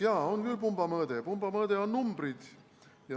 Jah, on küll pumba mõõde, pumba mõõde on numbrid.